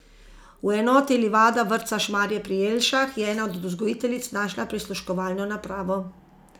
V enoti Livada vrtca Šmarje pri Jelšah je ena od vzgojiteljic našla prisluškovalno napravo.